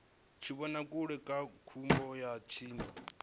tshivhonakule kha vhupo ha tsini